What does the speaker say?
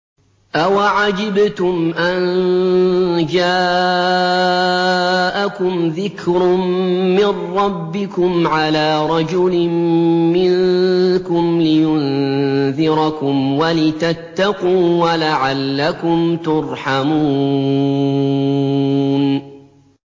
أَوَعَجِبْتُمْ أَن جَاءَكُمْ ذِكْرٌ مِّن رَّبِّكُمْ عَلَىٰ رَجُلٍ مِّنكُمْ لِيُنذِرَكُمْ وَلِتَتَّقُوا وَلَعَلَّكُمْ تُرْحَمُونَ